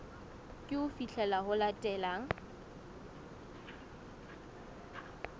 ke ho fihlela ho latelang